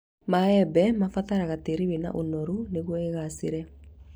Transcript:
Maembe mabataraga tĩĩri wĩna ũnoru nĩguo igaacĩre